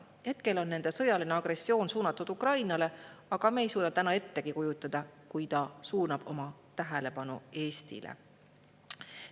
Hetkel on tema sõjaline agressioon suunatud Ukrainale, aga me ei suuda ettegi kujutada,, kui ta suunab oma tähelepanu Eestile.